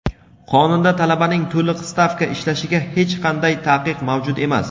Qonunda talabaning to‘liq stavka ishlashiga hech qanday taqiq mavjud emas.